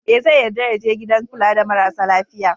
E, zai yarda ya je gidan kula da marasa lafiya.